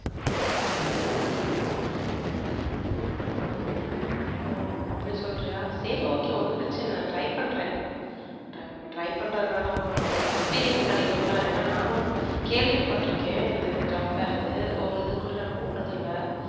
ஓஹ அப்படி சொல்றியா சரி okay ஒன்னும் பிரச்சனை இல்ல try பண்றேனஅதனால ஒன்னும் experience கிடைக்கும் இல்லையென்றால் நானும் கேள்விப்பட்டு இருக்கேன் job fair இருக்கு ஒரு இது கூட நான் போனதில்லை.